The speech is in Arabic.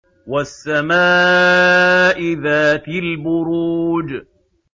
وَالسَّمَاءِ ذَاتِ الْبُرُوجِ